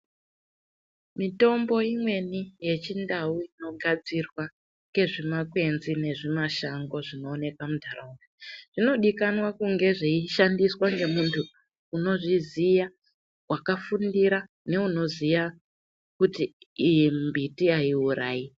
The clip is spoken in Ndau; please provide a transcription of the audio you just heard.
Mitombo imweni yechindau inogadzirwa ngezvimakwenzi nemashango zvinowoneka muntaraunda, zvino dikanwa kunge zviyishandiswa ngemuntu unozviziya wakafundira ,neunoziya kuti iyi miti hayiwurayi.